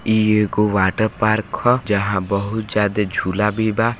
इ एगो अ वाटर पार्क होव जहां बहुत ज्यादा झूला भी बा--